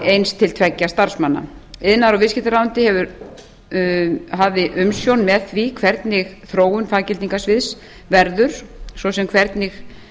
eins til tveggja starfsmanna iðnaðar og viðskiptaráðuneytið hafði umsjón með því hvernig þróun faggildingarsviðs verður svo sem hvernig